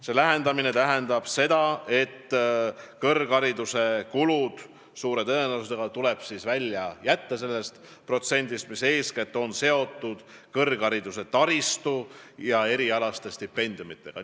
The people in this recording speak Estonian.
See lähendamine tähendab seda, et kõrghariduse kulud tuleb suure tõenäosusega võtta eraldi sellest protsendist, mis on eeskätt seotud kõrghariduse taristu ja erialaste stipendiumitega.